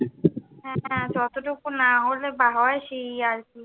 হ্যাঁ যতটুকু না হলে বা হয়, সেই আর কি।